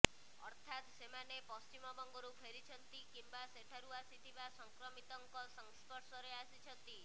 ଅର୍ଥାତ୍ ସେମାନେ ପଶ୍ଚିମବଙ୍ଗରୁ ଫେରିଛନ୍ତି କିମ୍ବା ସେଠାରୁ ଆସିଥିବା ସଂକ୍ରମିତଙ୍କ ସଂସ୍ପର୍ଶରେ ଆସିଛନ୍ତି